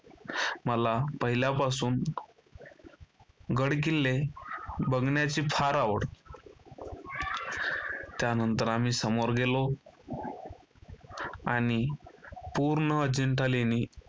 मला पहिल्यापासून गडकिल्ले बघण्याची फार आवड. त्यानंतर आम्ही समोर गेलो. आणि पूर्ण अजंठा लेणी